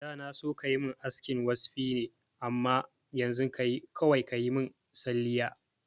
Da na so kayi min askin waspi ne amma yanzu kawai kayi min salliya